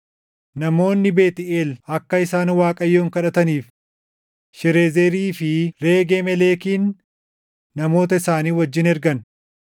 Namoonni Beetʼeel akka isaan Waaqayyoon kadhataniif Sharezerii fi Reege-Meleekin namoota isaanii wajjin ergan;